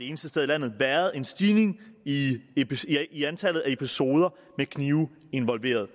eneste sted i landet været en stigning i i antallet af episoder med knive involveret